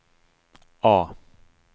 A